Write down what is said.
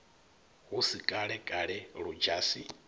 hu si kale kale ludzhasi